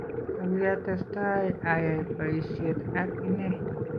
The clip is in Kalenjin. Ako kiatestai ayai boyisheet ak inee"